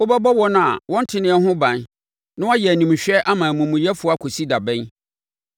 “Wobɛbɔ wɔn a wɔnteneɛ ho ban na woayɛ animhwɛ ama amumuyɛfoɔ akɔsi da bɛn?